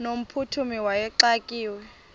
no mphuthumi wayexakiwe